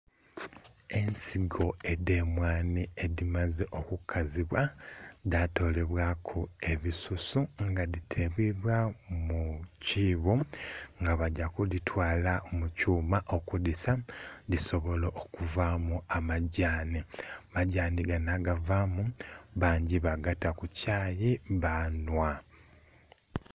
Ensigo edhe emwandhi edhimaze oku kazibwa dha tolebwaku ebisusu nga dhi teleibwa mu kibbo nga bagya kuhitwala mukyuma okudhisa dhisobole okuvamu amagyanhi, amagyanhi gano agavamu bagata ku kyayi banhwa.